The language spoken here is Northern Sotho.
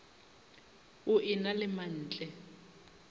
o e na le mantle